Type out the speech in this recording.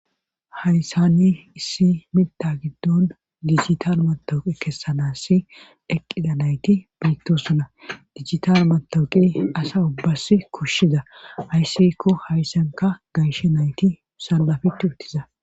hayssanni issi mita giddon dijital matawuqi kessanassi eqqida nayti biittosuna dijital matawuqi asa ubbas kushshiza ayssikko hayssanka gayshe nayti salafitti uttiza